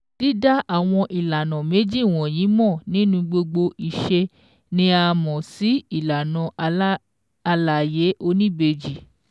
Dída àwọn ìlànà méjì wọ̀nyí mọ̀ nínú gbogbo ìṣe ni a mọ̀ sí ìlànà àlàyé oníbejì.